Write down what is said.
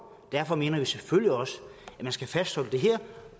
derfor mener vi selvfølgelig også at man skal fastholde det her